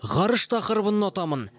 ғарыш тақырыбын ұнатамын